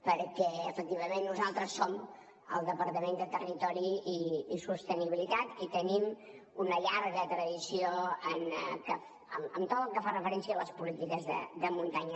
perquè efectivament nosaltres som el departament de territori i sostenibilitat i tenim una llarga tradició en tot el que fa referència a les polítiques de muntanya